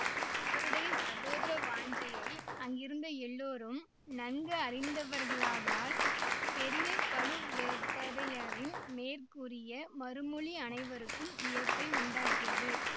அவருடைய சகோதர வாஞ்சையை அங்கிருந்த எல்லோரும் நன்கு அறிந்தவர்களாதலால் பெரிய பழுவேட்டரையரின் மேற்கூறிய மறுமொழி அனைவருக்கும் வியப்பை உண்டாக்கியது